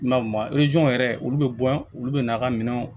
I ma yɛrɛ olu bɛ bɔ olu bɛ n'a ka minɛnw